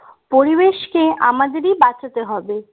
পরিবেশকে আমাদেরই বাঁচাতে হবে